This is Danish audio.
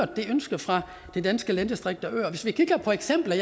det ønske fra de danske landdistrikter og øers vi kigger på eksempler